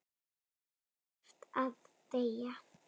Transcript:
Þú þarft að deyja.